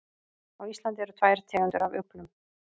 Á Íslandi eru tvær tegundir af uglum.